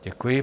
Děkuji.